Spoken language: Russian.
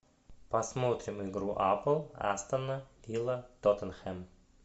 посмотрим игру апл астон вилла тоттенхэм